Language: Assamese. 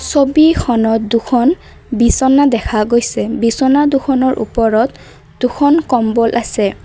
ছবিখনত দুখন বিছনা দেখা গৈছে বিছনা দুখনৰ ওপৰত দুখন কম্বল আছে।